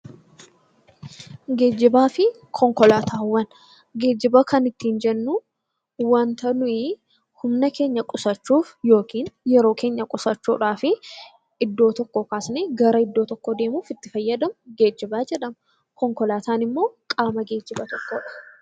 Geejjiba kan ittiin jennu wanta nuyi humna keenya qusachuuf yookiin yeroo keenya qusachuudhaan iddoo tokkoo kaasnee gara biraatti deemuuf itti fayyadamnu geejjiba jedhama. Konkolaataan immoo qaama geejjibaa tokkodha.